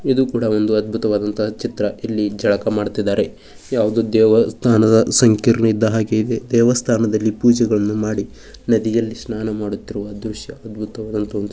ಇದು ಕೂಡ ಒಂದು ಅದ್ಭುತವಾದ ಚಿತ್ರ ಇಲ್ಲಿ ಜಳಕ ಮಾಡುತ್ತಿದ್ದಾರೆ ಯಾವುದೋ ದೇವಸ್ಥಾನದ ಸಂಕೀರ್ಣ ಇದ್ದಹಾಗೆ ಇದೆ ದೇವಸ್ಥಾನಗಳಲ್ಲಿ ಪೂಜೆಗಳನ್ನು ಮಾಡಿ ನದಿಯಲ್ಲಿ ಸ್ನಾನ ಮಾಡುತ್ತಿರುವ ದೃಶ್ಯ ಅದ್ಭುತವಾದಂತಹ --